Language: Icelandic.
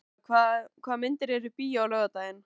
Heida, hvaða myndir eru í bíó á laugardaginn?